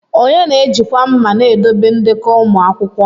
Onye na-ejikwa ma na-edobe ndekọ ụmụ akwụkwọ?